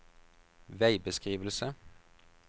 veibeskrivelse